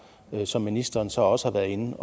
som ministeren så også har været inde